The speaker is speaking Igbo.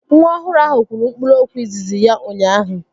Nwa ọhụrụ ahụ kwuru mkpụrụokwu izizi ya ụnyaahụ